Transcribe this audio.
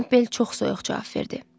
Kempel çox soyuq cavab verdi.